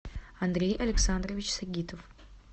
андрей александрович сагитов